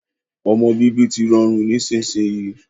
Ọmọ bíbí tí rọrùn nísinsìnyi